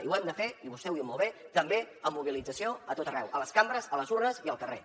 i ho hem de fer i vostè ho diu molt bé també amb mobilització a tot arreu a les cambres a les urnes i al carrer